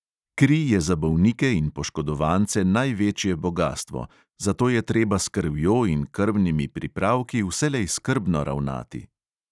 Kri je za bolnike in poškodovance največje bogastvo, zato je treba s krvjo in krvnimi pripravki vselej skrbno ravnati.